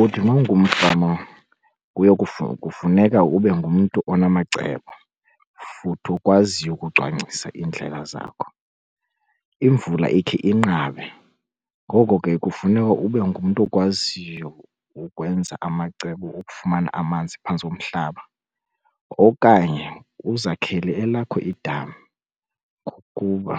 Uthi uma ungumfama kuye kufuneka ube ngumntu onamacebo futhi okwaziyo ukucwangcisa iindlela zakho. Imvula ikhe inqabe ngoko ke kufuneka ube ngumntu okwaziyo ukwenza amacebo okufumana amanzi phantsi komhlaba. Okanye uzakhele elakho idami ngokuba